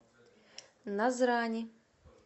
назрани